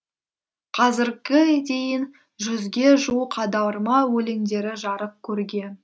қазірге дейін жүзге жуық аударма өлеңдері жарық көрген